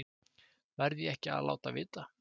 Verð ég ekki að láta vita?